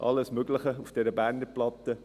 alles Mögliche ist auf dieser Berner Platte.